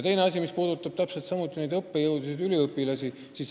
Teine probleem, mis puudutab samuti õppejõudusid ja üliõpilasi.